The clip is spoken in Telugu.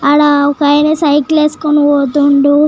అల ఒక ఆయన సైకిల్ వేసుకొని పోతుండు.